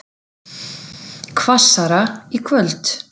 Hvassara í kvöld